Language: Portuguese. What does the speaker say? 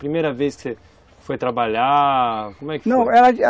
Primeira vez que você foi trabalhar, como é que foi? Não, ela